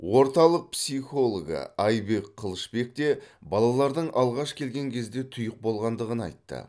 орталық психологы айбек қылышбек те балалардың алғаш келген кезде тұйық болғандығын айтты